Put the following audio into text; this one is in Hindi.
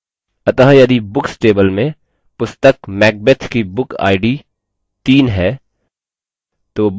अतः यदि books table में पुस्तक macbeth की book id 3 है